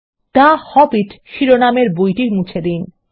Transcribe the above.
the Hobbit শিরোনামের বইটি মুছে দিন